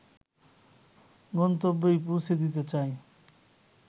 গন্তব্যেই পৌঁছ দিতে চায়